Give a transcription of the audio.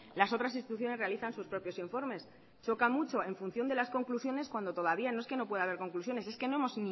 las otras instituciones realizan sus propios informes choca mucho en función de las conclusiones cuando todavía no es que no pueda haber conclusiones es que no hemos